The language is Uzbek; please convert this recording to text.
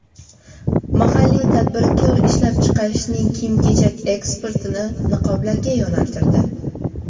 Mahalliy tadbirkor ishlab chiqarishining kiyim-kechak eksportini niqoblarga yo‘naltirdi.